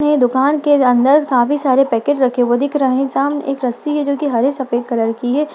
ये दुकान के अंदर काफी सारे पैकेट्स रखे हुए दिख रहे है सामने एक रस्सी हैजो की हरे सफेद कलर की है।